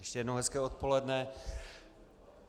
Ještě jednou hezké odpoledne.